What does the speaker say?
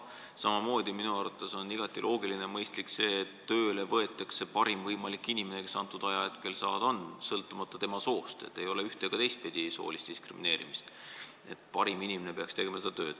Samamoodi on minu arvates igati loogiline ja mõistlik see, et tööle võetakse parim võimalik inimene, kes hetkel saada on, sõltumata tema soost, ei ole ühte- ega teistpidi soolist diskrimineerimist.